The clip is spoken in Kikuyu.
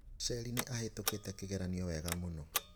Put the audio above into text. Sherry nĩ ahĩtũkĩte kĩgeranio wega mũno.